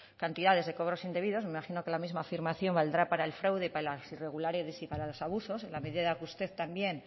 cantidades de cobros indebidos me imagino que la misma afirmación valdrá para el fraude para las irregulares y para los abusos en la medida que usted también